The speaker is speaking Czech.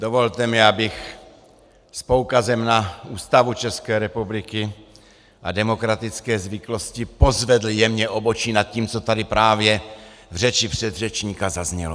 Dovolte mi, abych s poukazem na Ústavu České republiky a demokratické zvyklosti pozvedl jemně obočí nad tím, co tady právě v řeči předřečníka zaznělo.